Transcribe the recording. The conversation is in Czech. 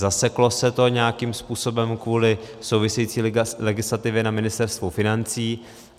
Zaseklo se to nějakým způsobem kvůli související legislativě na Ministerstvu financí.